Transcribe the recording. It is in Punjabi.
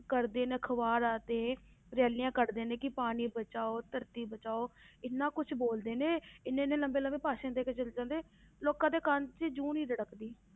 ਕੱਢਦੇ ਨੇ ਅਖਬਾਰਾਂ ਤੇ rallies ਕੱਢਦੇ ਨੇ ਕਿ ਪਾਣੀ ਬਚਾਓ ਧਰਤੀ ਬਚਾਓ ਇੰਨਾ ਕੁਛ ਬੋਲਦੇ ਨੇ ਇੰਨੇ ਇੰਨੇ ਲੰਬੇ ਲੰਬੇ ਭਾਸ਼ਣ ਦੇ ਕੇ ਚਲੇ ਜਾਂਦੇ ਲੋਕਾਂ ਦੇ ਕੰਮ 'ਚ ਜੂੰ ਨਹੀਂ ਰਿੜਕਦੀ